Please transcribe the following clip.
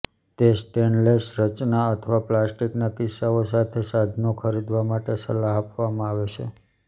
તે સ્ટેનલેસ રચના અથવા પ્લાસ્ટિકના કિસ્સાઓ સાથે સાધનો ખરીદવા માટે સલાહ આપવામાં આવે છે